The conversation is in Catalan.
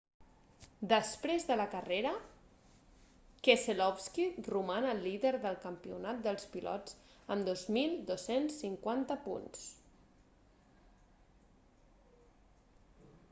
després de la carrera keselowski roman el líder del campionat dels pilots amb 2.250 punts